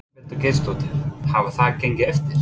Ingveldur Geirsdóttir: Hefur það gengið eftir?